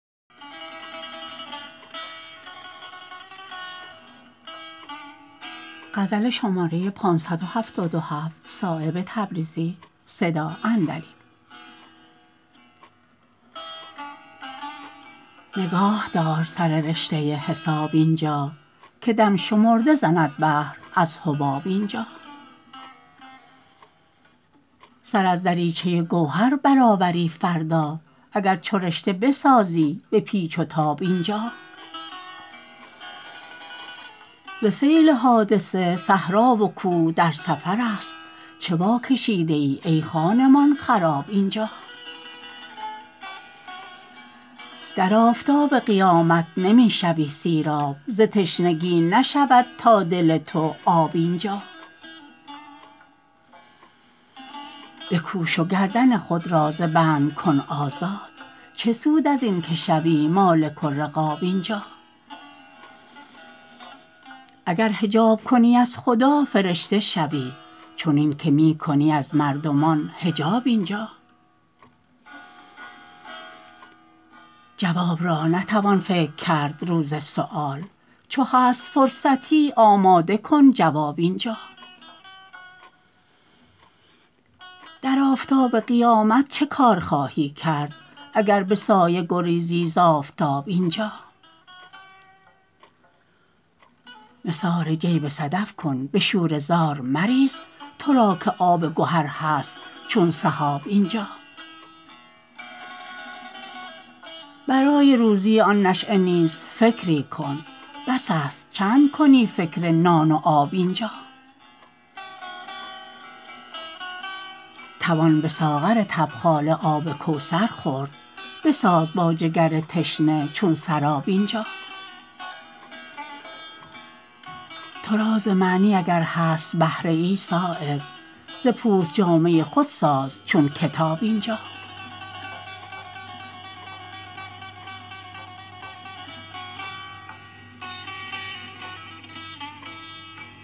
نگاه دار سر رشته حساب اینجا که دم شمرده زند بحر از حباب اینجا سر از دریچه گوهر برآوری فردا اگر چو رشته بسازی به پیچ و تاب اینجا ز سیل حادثه صحرا و کوه در سفرست چه واکشیده ای ای خانمان خراب اینجا در آفتاب قیامت نمی شوی سیراب ز تشنگی نشود تا دل تو آب اینجا بکوش و گردن خود را ز بند کن آزاد چه سود ازین که شوی مالک الرقاب اینجا اگر حجاب کنی از خدا فرشته شوی چنین که می کنی از مردمان حجاب اینجا جواب را نتوان فکر کرد روز سؤال چو هست فرصتی آماده کن جواب اینجا در آفتاب قیامت چه کار خواهی کرد اگر به سایه گریزی ز آفتاب اینجا نثار جیب صدف کن به شوره زار مریز ترا که آب گهر هست چون سحاب اینجا برای روزی آن نشأه نیز فکری کن بس است چند کنی فکر نان و آب اینجا توان به ساغر تبخاله آب کوثر خورد بساز با جگر تشنه چون سراب اینجا ترا ز معنی اگر هست بهره ای صایب ز پوست جامه خود ساز چون کتاب اینجا